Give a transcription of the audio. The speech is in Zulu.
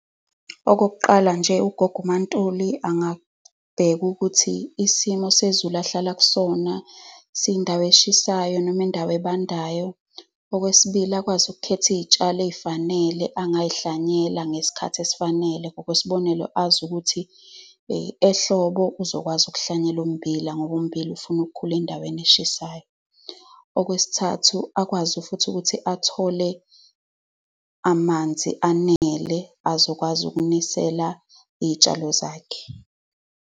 Okokuqala nje, ugogo uMaNtuli angabheka ukuthi isimo sezulu ahlala kusona siyindawo eshisayo noma indawo ebandayo. Okwesibili akwazi ukukhetha iy'tshalo ey'fanele angazihlwanyela ngesikhathi esifanele. Ngokwesibonelo, azi ukuthi ehlobo uzokwazi kuhlwanyela ummbila ngoba umbila ufuna ukukhula endaweni eshisayo. Okwesithathu, akwazi futhi ukuthi athole amanzi anele azokwazi ukunisela iy'tshalo zakhe.